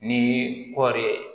Ni kɔɔri ye